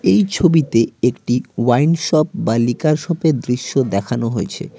এই ছবিতে একটি ওয়াইন শপ বা লিকার শপের দৃশ্য দেখানো হয়েছে।